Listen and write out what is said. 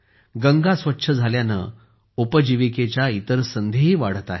गंगा स्वच्छ झाल्याने उपजीविकेच्या इतर संधीही वाढत आहेत